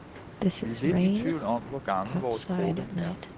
Vi er lidt i tvivl om, hvor gammel vores krukke er.